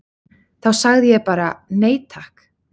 Þá sagði ég bara: Nei takk!